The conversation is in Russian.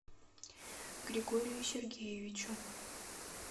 григорию сергеевичу